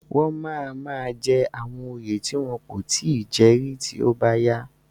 Wọ́n máa máa jẹ àwọn òye tí wọn kò tí ì jẹ rí tí ó bá yá.